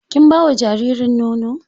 Kin ba wa jaririn nono?